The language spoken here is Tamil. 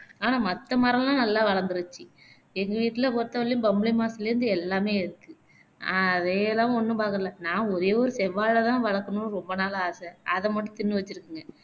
ஆனா மத்த மரம்லாம் நல்லா வளந்த்துருச்சு எங்க வீட்டிலே பொருத்தவரையிலும் பம்புலுமாஸ்ல இருந்து எல்லாமே இருக்கு அதையெல்லாம் ஒன்னும் பாக்கல நா ஒரே ஒரு செவ்வாழைதான் வளக்கணும்னு ரொம்ப நாளா ஆசை அதை மட்டும் திண்ணு வச்சுருக்குங்க